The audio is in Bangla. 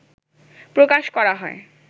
প্রকাশ করা হয়